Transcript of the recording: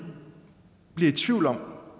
bliver i tvivl om